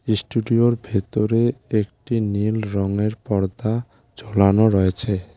ইস্টুডিওর ভেতরে একটি নীল রঙের পর্দা ঝোলানো রয়েছে।